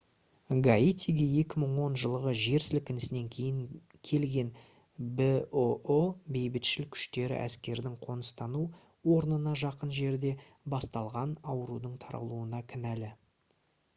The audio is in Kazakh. гаитиге 2010 жылғы жер сілкінісінен кейін келген бұұ бейбітшіл күштері әскердің қоныстану орнына жақын жерде басталған аурудың таралуына кінәлі